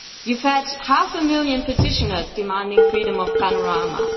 You have had half a million petitioners demanding freedom of panorama.